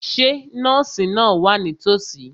Ṣé nọ́ọ̀sì náà wà nítòsí?